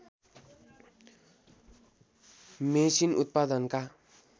machine उत्पादनका